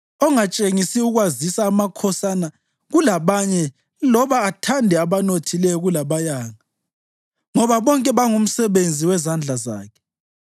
ongatshengisi ukwazisa amakhosana kulabanye loba athande abanothileyo kulabayanga, ngoba bonke bangumsebenzi wezandla zakhe?